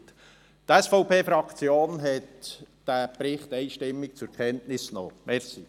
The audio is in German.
Die SVP-Fraktion hat diesen Bericht einstimmig zur Kenntnis genommen.